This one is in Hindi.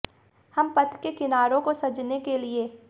हम पथ के किनारों को सजाने के लिए